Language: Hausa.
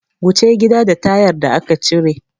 Wuce gida da tayar da aka cire!